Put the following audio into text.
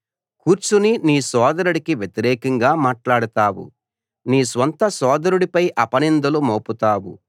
కూర్చుని నీ సోదరుడికి వ్యతిరేకంగా మాట్లాడుతావు నీ స్వంత సోదరుడిపై అపనిందలు మోపుతావు